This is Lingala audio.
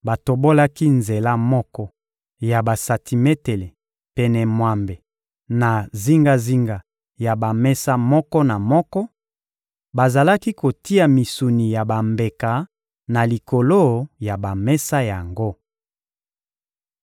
Batobolaki nzela moko ya basantimetele pene mwambe na zingazinga ya bamesa moko na moko; bazalaki kotia misuni ya bambeka na likolo ya bamesa yango.